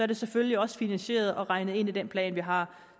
det selvfølgelig også finansieret og regnet ind i den plan vi har